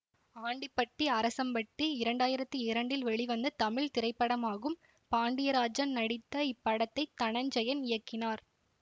ஆண்டிப்பட்டி அரசம்பட்டி இரண்டாயிரத்தி இரண்டில் வெளிவந்த தமிழ் திரைப்படமாகும் பாண்டியராஜன் நடித்த இப்படத்தை தனஞ்செயன் இயக்கினார்